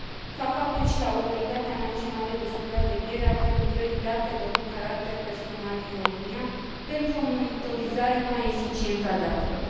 Fac apel și la Autoritatea Națională de Supraveghere a Prelucrării Datelor cu Caracter Personal din România pentru o monitorizare mai eficientă a datelor.